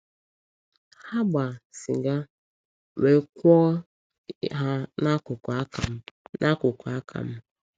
Ha gbaa sịga wee kwụọ ha n’akụkụ aka m. n’akụkụ aka m.